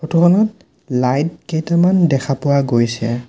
Photo খনত light কেইটামান দেখা পোৱা গৈছে।